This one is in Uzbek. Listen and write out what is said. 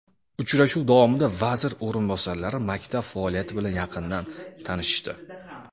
Uchrashuv davomida vazir o‘rinbosarlari maktab faoliyati bilan yaqindan tanishishdi.